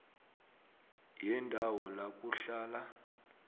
yendawo la kuhlala